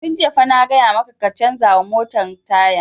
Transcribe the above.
Tun jiya na gaya maka ka canza wa motan taya!